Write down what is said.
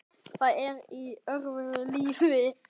Það er í öðru lífi.